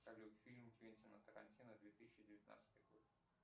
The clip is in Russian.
салют фильм квентина тарантино две тысячи девятнадцатый год